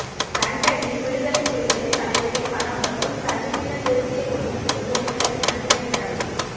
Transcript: லண்டனில் விடுதலைப் புலிகளின் தலைவரின் படம் மற்றும் தமிழீழ தேசியக் கொடி மீது பொலிஸாரின் அதிரடி நடவடிக்கை